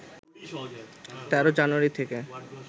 ১৩ জানুয়ারি থেকে